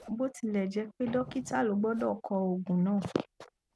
bó tilẹ jẹ pé dọkítà ló gbọdọ kọ òògùn náà